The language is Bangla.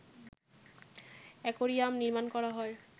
অ্যাকোয়ারিয়াম নির্মাণ করা হয়